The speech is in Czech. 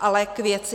Ale k věci.